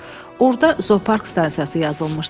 Orda zoopark stansiyası yazılmışdı.